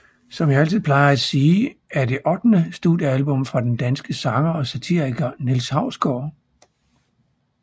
Som jeg altid plejer at sige er det ottende studiealbum fra den danske sanger og satiriker Niels Hausgaard